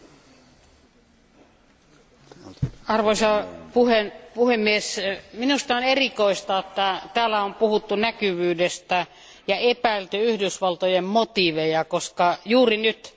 Arvoisa puhemies, minusta on erikoista, että täällä on puhuttu näkyvyydestä ja epäilty Yhdysvaltojen motiiveja, koska juuri nyt tarvitaan auttamista.